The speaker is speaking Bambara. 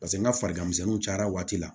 Paseke n ka fariganmisɛnniw cayara waati la